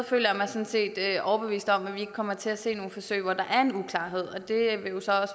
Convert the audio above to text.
føler jeg mig sådan set overbevist om at vi ikke kommer til at se nogle forsøg hvor der